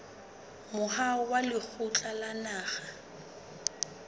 moahong wa lekgotla la naha